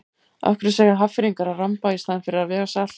Af hverju segja Hafnfirðingar að ramba í staðinn fyrir að vega salt?